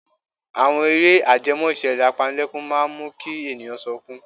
Àwọn eré ajẹmọ́ ìṣẹ̀lẹ̀ apanilẹ́kún máa ń mú kí ènìyàn sọkún.